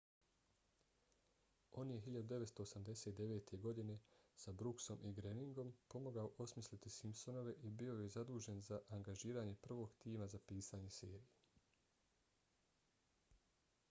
on je 1989. godine s brooksom i groeningom pomogao osmisliti simpsonove i bio je zadužen za angažiranje prvog tima za pisanje serije